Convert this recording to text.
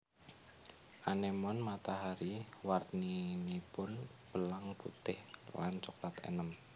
Anémon matahari warninipun belang putih lan coklat enèm